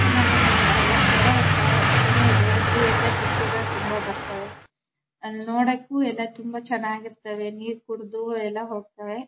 ನಮ ಮನೆ ಹತ್ರ ಎಲ್ಲ ಕೆರೆ ಹತ್ರ ಕೆ ಕೆರೆ ಇದೆ ಅಲ್ಲಿ ಎಲ್ಲ ಜಿಂಕೆ ಗಳ್ ಬರ್ತವೆ ಅಲ್ನೋಡಕ್ಕೂ ಎಲ್ಲ ತುಂಬಾ ಚೆನ್ನಾಗ್ ಇರ್ತ್ತವೆ ನೀರ್ ಕುಡ್ ದ್ದು ಎಲ್ಲ ಹೋಗ್ತವೆ.